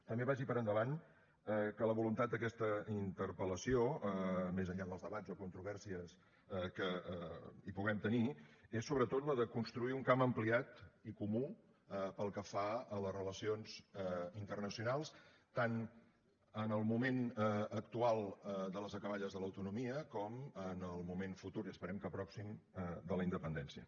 també vagi per endavant que la voluntat d’aquesta interpel·lació més enllà dels debats o controvèrsies que hi puguem tenir és sobretot la de construir un camp ampliat i comú pel que fa a les relacions internacionals tant en el moment actual de les acaballes de l’autonomia com en el moment futur i esperem que pròxim de la independència